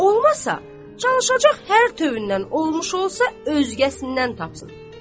Olmasa, çalışacaq hər tövründən olmuş olsa özgəsindən tapsın.